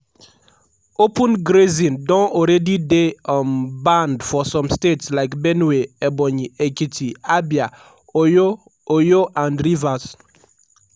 open grazing don already dey um banned for some states like benue ebonyi ekiti abia oyo oyo and rivers.